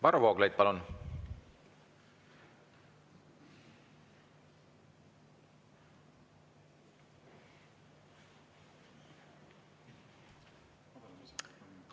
Varro Vooglaid, palun!